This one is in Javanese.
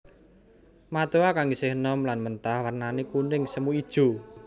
Matoa kang isih enom lan mentah wernané kuning semu ijo